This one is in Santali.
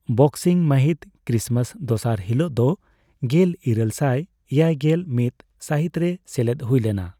ᱵᱚᱠᱥᱤᱝ ᱢᱟᱹᱦᱤᱛ, ᱠᱨᱤᱥᱢᱟᱥ ᱫᱚᱥᱟᱨ ᱦᱤᱞᱳᱜ ᱫᱚ, ᱜᱮᱞ ᱤᱨᱟᱹᱞ ᱥᱟᱭ ᱮᱭᱟᱭᱜᱮᱞ ᱢᱤᱛ ᱥᱟᱹᱦᱤᱛᱨᱮ ᱥᱮᱞᱮᱫ ᱦᱩᱭ ᱞᱮᱱᱟ ᱾